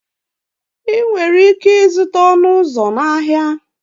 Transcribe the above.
Ị nwere ike ịzụta ọnụ ụzọ na ahịa.